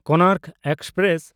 Konark express